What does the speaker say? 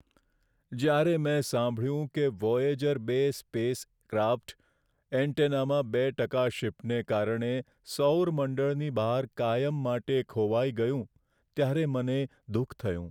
જ્યારે મેં સાંભળ્યું કે વોયેજર બે સ્પેસ ક્રાફ્ટ એન્ટેનામાં બે ટકા શિફ્ટને કારણે સૌર મંડળની બહાર કાયમ માટે ખોવાઈ ગયું, ત્યારે મને દુઃખ થયું.